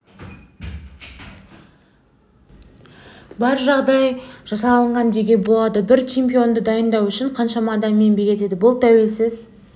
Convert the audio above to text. бар жағдай жасалған деуге болады бір чемпионды дайындау үшін қаншама адам еңбек етеді бұл тәуелсіз